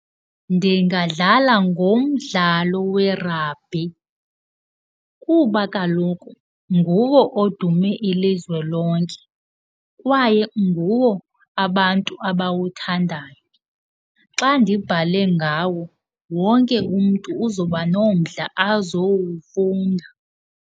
Ningadlala ngomdlalo we-rugby kuba kaloku nguwo odume ilizwe lonke kwaye nguwo abantu abawuthandayo. Xa ndibhale ngawo, wonke umntu uzawuba nomdla azowufunda.